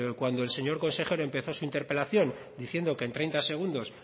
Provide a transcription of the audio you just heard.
cuando el señor consejero empezó su interpelación diciendo que en treinta segundos